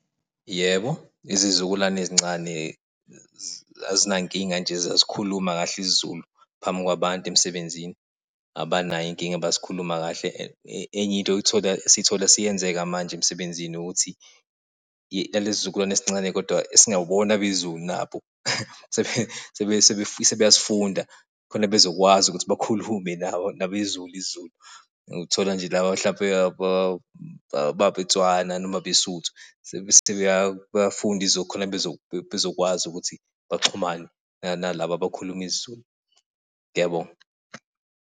Yebo, izizukulwane ezincane azinankinga nje ziyasikhuluma kahle isiZulu phambi kwabantu emsebenzini abanayo inkinga, basikhuluma kahle. Enye into esithola yenzeka manje emsebenzini ukuthi nalesi sizukulwane esincane kodwa esingawona abeZulu nabo sebeyasifunda khona bezokwazi ukuthi bakhulume nabeZulu isiZulu. Uthola nje laba mhlawumbe ababeTswana, noma abeSotho sebeyafunda isiZulu khona bezokwazi ukuthi baxhumane nalaba abakhuluma isiZulu. Ngiyabonga.